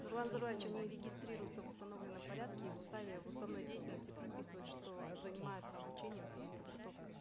нурлан зайроллаевич они регистрируются в установленном порядке и в уставе в уставной деятельности прописывают что занимаются обучением переподготовкой